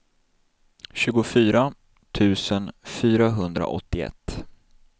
tjugofyra tusen fyrahundraåttioett